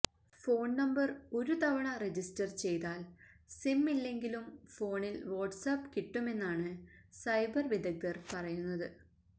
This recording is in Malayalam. ഫോൺ നമ്പർ ഒരു തവണ രജിസ്റ്റർ ചെയ്താൽ സിം ഇല്ലെങ്കിലും ഫോണിൽ വാട്സാപ്പ് കിട്ടുമെന്നാണ് സൈബർ വിദഗ്ധർ പറയുന്നത്